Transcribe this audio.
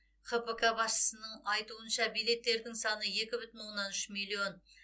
хпк басшысының айтуынша билеттердің саны екі бүтін оннан үш миллион